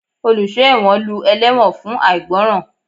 Oluso ẹwọ́n lú ẹlewọ́n fun aigbọran.